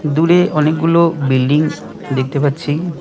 দূরে অনেকগুলো বিল্ডিং দেখতে পাচ্ছি।